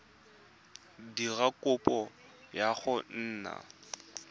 dira kopo ya go nna